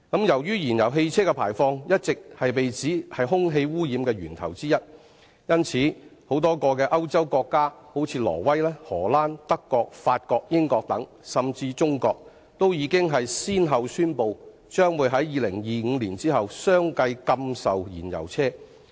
由於燃油汽車的排放一直被指為空氣污染的源頭之一，因此，多個歐洲國家例如挪威、荷蘭、德國、法國、英國等，甚至亞洲的中國，均已先後宣布，將於2025年後相繼禁售燃油汽車。